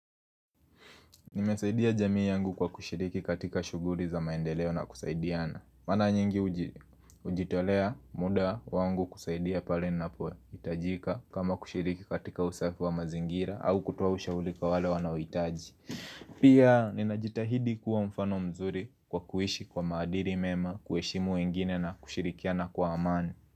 Nimesaidia jamii yangu kwa kushiriki katika shuguli za maendeleo na kusaidiana Mara nyingi hujitolea muda wangu kusaidia pale napo hitajika kama kushiriki katika usafi wa mazingira au kutoa ushauri kwa wale wanaohitaji Pia ninajitahidi kuwa mfano mzuri kwa kuishi kwa maadili mema kuheshimu wengine na kushirikiana kwa amani.